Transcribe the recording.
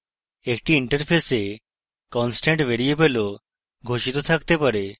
একটি interface constant variable ও ঘোষিত থাকতে পারে